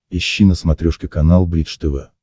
ищи на смотрешке канал бридж тв